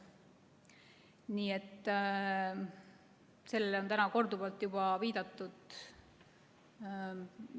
Nii et sellele on täna korduvalt juba viidatud.